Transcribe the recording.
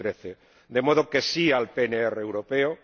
2013. De modo que sí al PNR europeo